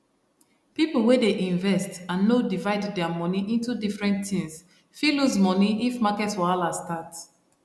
people wey dey invest and no divide their money into different things fit lose money if market wahala start